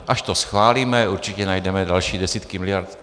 Až to schválíme, určitě najdeme další desítky miliard.